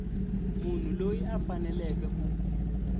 munhu loyi a faneleke ku